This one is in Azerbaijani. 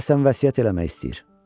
Deyəsən vəsiyyət eləmək istəyir.